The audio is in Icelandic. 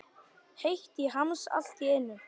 Heitt í hamsi allt í einu.